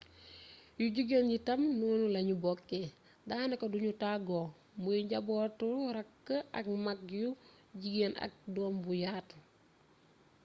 yu jigéen yi itam noonu lañu bokkee daanaka duñu tàggoo muy njabootu raak ak maag yu jigéen ak doom bu yaatu